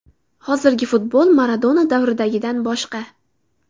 Hozirgi futbol Maradona davridagidan boshqa.